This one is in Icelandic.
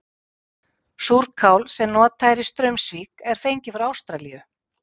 Súrál sem notað er í Straumsvík er fengið frá Ástralíu.